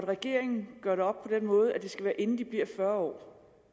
regeringen gør det op på den måde at det skal være inden de bliver fyrre år